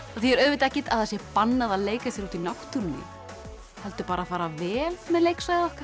þýðir auðvitað ekkert að það sé bannað að leika sér úti í náttúrunni heldur bara fara vel með leiksvæðið okkar